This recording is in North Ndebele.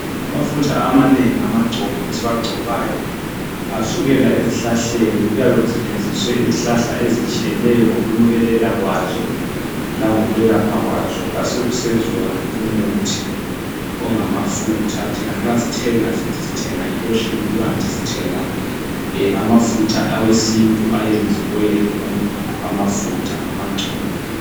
Amafutha amanengi, amagcobo amanengi esiwagcoyo asukela ezihlahleni. Kuyabe kusetshenziswe izihlahla ezitshiyeneyo ngokunukelela kwazo langokunukelela kwazo, kwasokusenziwa umuthi ongamafutha. Thina nxa sithenga sithi sithenga iloshini kanti sithenga amafutha awesintu ayenziwe amafutha, amagcobo.